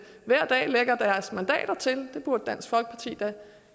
hver dag lægger deres mandater til det burde dansk folkeparti da